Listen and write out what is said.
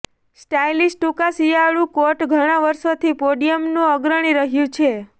stylish ટૂંકા શિયાળુ coat ઘણા વર્ષોથી પોડિયમનું અગ્રણી રહ્યું છે